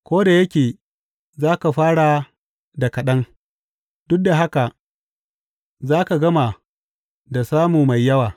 Ko da yake za ka fara da kaɗan, duk da haka za ka gama da samu mai yawa.